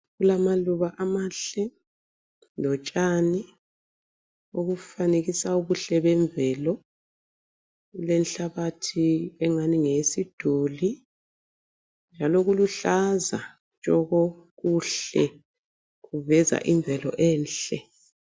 Kulamaluba amahle lotshani obufanekiswe ubuhle bemvelo kulenhlabathi engani ngeyesiduli njalo kuluhlaza tshoko kuhle kuveza imvelo enhle.